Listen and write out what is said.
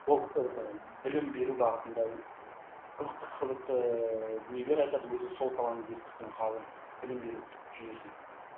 білім беру бағытында қызықты қызықты ыыы дүниелер айтады өзі сол саланы зерттейтін ғалым білім беру жүйесін